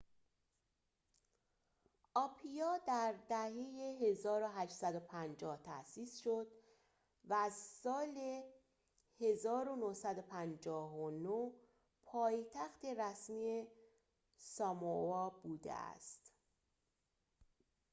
آپیا در دهه ۱۸۵۰ تأسیس شد و از سال ۱۹۵۹ پایتخت رسمی ساموآ بوده است